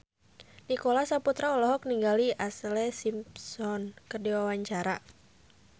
Nicholas Saputra olohok ningali Ashlee Simpson keur diwawancara